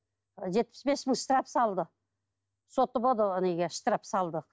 жетпіс бес мың штраф салды соты болды штраф салды